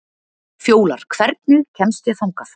Fjólar, hvernig kemst ég þangað?